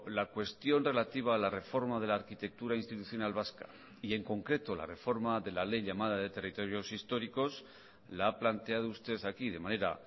la cuestión relativa a la reforma de la arquitectura institucional vasca y en concreto la reforma de la ley llamada de territorios históricos la ha planteado usted aquí de manera